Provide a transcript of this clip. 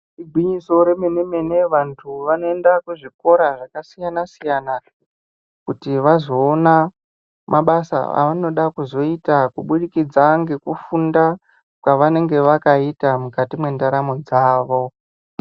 Igwinyiso remene mene vantu vanoenda kuzvikora zvakasiyana siyana kuti vazoona mabasa anoda kuzoita kubudikidza ngekufunda kwavanenge vakaita mukati mwendaro dzavo.